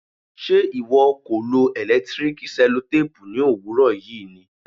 ṣe ìwọ kò lo electric sellotape ní òwúrọ̀ yìí ni?